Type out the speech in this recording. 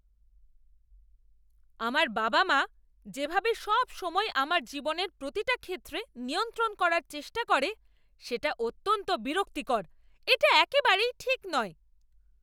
আমার বাবা মা যেভাবে সবসময় আমার জীবনের প্রতিটা ক্ষেত্রে নিয়ন্ত্রণ করার চেষ্টা করে, সেটা অত্যন্ত বিরক্তিকর। এটা একেবারেই ঠিক নয়।